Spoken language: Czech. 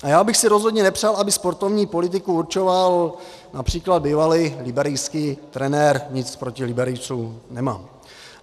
A já bych si rozhodně nepřál, aby sportovní politiku určoval například bývalý liberijský trenér, nic proti Liberijcům nemám.